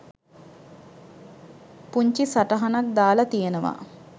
පුංචි සටහනක් දාලා තියෙනවා